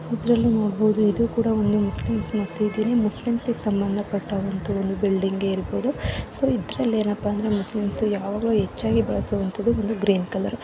ಇದ್ರಲ್ಲಿ ನೂಡಬಹುದು ಇದು ಒಂದು ಮುಸ್ಲಿಂ ಪ್ಲೇಸ್ ಮುಸ್ಲಿಂಗೆ ಸಂಬಂಧ ಪಟ್ಟ ಬಿಲ್ಡಿಂಗ್ ಇರಬಹುದು ಇದ್ರಲ್ಲಿ ಎ ನೆಪ್ಪ ಅಂದ್ರೆ ಮುಸ್ಲಿಂಸೂ ಯಾವಾಗಲು ಹೆಚ್ಚಾಗಿ ಬಳುಸುದು ಅಂದ್ರೆ ಗ್ರೀನ್ ಕಲರ್ ಇಲ್ಲಿ ಮುಸ್ಲಿಂ ದೇವರಿಗೆ ಕೂಡ ಗ್ರೀನ್ ಕಲರ್ ಇಂದ ಅಯ್ಡೆಂಟಿಫೈವ್ ಮಾಡಬಹುದು